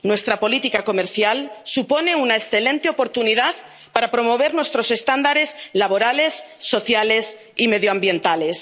Nuestra política comercial supone una excelente oportunidad para promover nuestros estándares laborales, sociales y medioambientales.